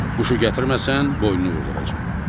Quşu gətirməsən, boynunu vurduracam.